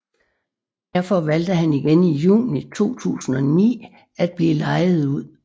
Derfor valgte han igen i Juni 2009 at blive lejet ud